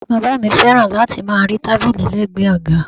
Bàbá mi fẹ́ràn láti máa rí tábìlì lẹgbẹ àga.